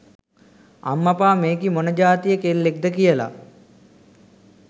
අම්මපා මේකි මොන ජාතියෙ කෙල්ලෙක්ද කියලා.